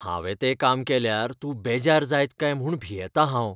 हांवें तें काम केल्यार तूं बेजार जाय काय म्हूण भियेतां हांव.